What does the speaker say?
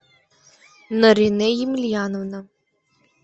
наринэ емельяновна